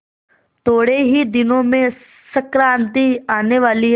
थोड़े ही दिनों में संक्रांति आने वाली है